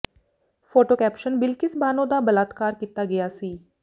photo caption Bilkis Bano ਦਾ ਬਲਾਤਕਾਰ ਕੀਤਾ ਗਿਆ ਸੀ